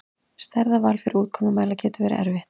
Staðarval fyrir úrkomumæla getur verið erfitt.